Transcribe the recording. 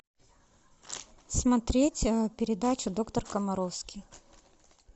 смотреть передачу доктор комаровский